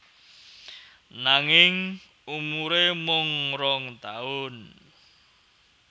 Nanging umuré mung rong taun